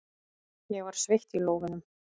Ég var sveitt í lófunum.